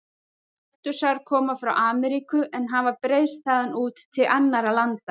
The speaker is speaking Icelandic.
Kaktusar koma frá Ameríku en hafa breiðst þaðan út til annarra landa.